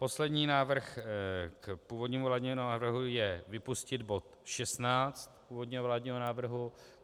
Poslední návrh k původnímu vládnímu návrhu je - vypustit bod 16 původního vládního návrhu.